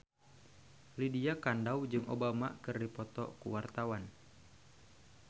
Lydia Kandou jeung Obama keur dipoto ku wartawan